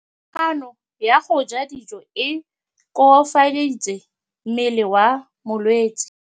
Kganô ya go ja dijo e koafaditse mmele wa molwetse.